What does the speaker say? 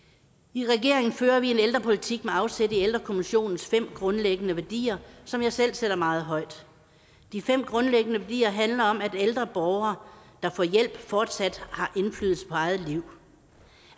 i regeringen fører vi en ældrepolitik med afsæt i ældrekommissionens fem grundlæggende værdier som jeg selv sætter meget højt de fem grundlæggende værdier handler om at ældre borgere der får hjælp fortsat har indflydelse på eget liv